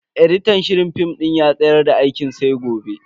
editan shirin film din ya tsayar da aikin sai gobe.